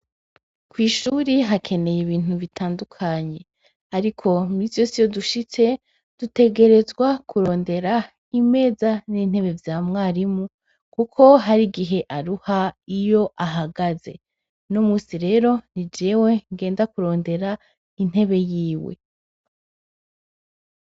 Kw'ishuri hakeneye ibintu bitandukanye, ariko iminsi yose iyo dushitse dutegerezwa kurondera imeza n'intebe vya mwarimu, kuko hari igihe aruha iyo ahagaze. Uno musi rero ni jewe ngenda kurondera intebe yiwe.